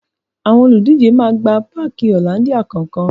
Àwọn olùdíje máa gba páàki Hollandia kọ̀ọ̀kan